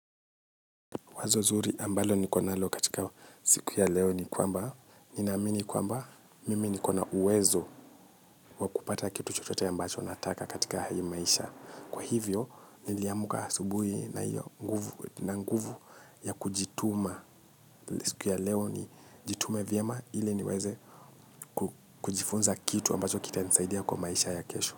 Wazo zuri ambalo niko nalo katika siku ya leo ni kwamba. Ninaamini kwamba mimi niko na uwezo wa kupata kitu chochote ambacho nataka katika hii maisha. Kwahivyo, niliamka asubuhi na nguvu ya kujituma siku ya leo nijitume vyema ili niweze kujifunza kitu ambacho kitanisaidia kwa maisha ya kesho.